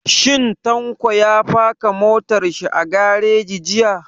Shin Tanko ya faka motar shi a gareji jiya?